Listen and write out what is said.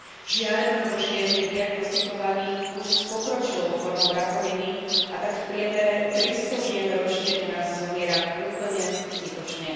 Žiaľ, mnoho žien je diagnostikovaných už s pokročilou formou rakoviny, a tak v priemere tristo žien ročne u nás zomiera úplne zbytočne.